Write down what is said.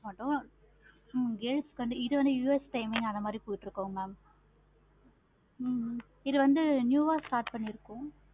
மாட்டோம் girls காண்டி இது வந்து US time அந்த மாதிரி போய்கிட்டு இருக்கு mam ஹம் இது வந்து new ஆஹ் start பண்ணி இருக்கோம்.